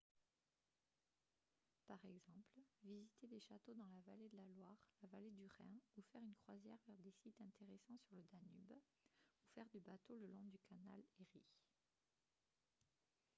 par exemple visiter des châteaux dans la vallée de la loire la vallée du rhin ou faire une croisière vers des sites intéressants sur le danube ou faire du bateau le long du canal erie